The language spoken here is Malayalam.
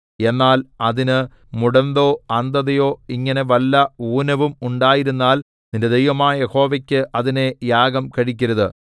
എന്നാൽ അതിന് മുടന്തോ അന്ധതയോ ഇങ്ങനെ വല്ല ഊനവും ഉണ്ടായിരുന്നാൽ നിന്റെ ദൈവമായ യഹോവയ്ക്ക് അതിനെ യാഗം കഴിക്കരുത്